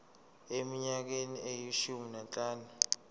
eminyakeni eyishumi nanhlanu